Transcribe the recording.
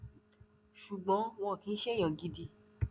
ṣùgbọn wọn kì í ṣe èèyàn gidi